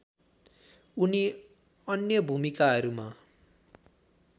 उनी अन्य भूमिकाहरूमा